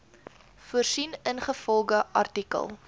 voorsien ingevolge artikel